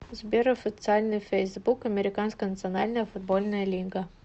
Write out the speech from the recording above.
сбер официальный фейсбук американская национальная футбольная лига